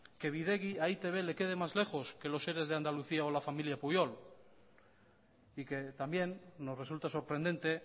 que bidegi a e i te be le quede más lejos que los eres de andalucía o la familia pujol y que también nos resulta sorprendente